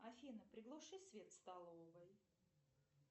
афина приглуши свет в столовой